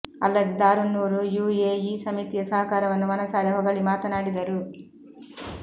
ಅಲ್ಲದೆ Darunnoor U A E ಸಮಿತಿಯ ಸಹಕಾರವನ್ನು ಮನಸಾರೆ ಹೊಗಳಿ ಮಾತನಾಡಿದರು